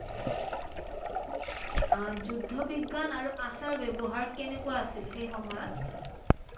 আহ যুদ্ব বিজ্ঞান আৰু আচাৰ ব্যৱহাৰ কেনেকুৱা আছিল সেই সময়ত?